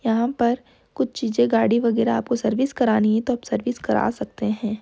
यहाॅं पर कुछ चीज़े गाड़ी वगेरा आपको सर्विस करानी है तो आप सर्विस करा सकते हैं।